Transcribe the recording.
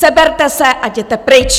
Seberte se a jděte pryč!